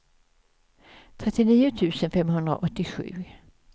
trettionio tusen femhundraåttiosju